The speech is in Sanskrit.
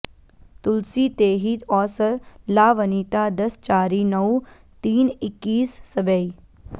तुलसी तेहि औसर लावनिता दस चारि नौ तीन इकीस सबै